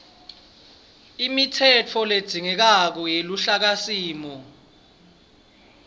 imitsetfo ledzingekako yeluhlakasimo